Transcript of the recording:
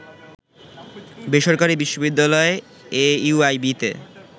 বেসরকারি বিশ্ববিদ্যালয় এইউআইবি-তে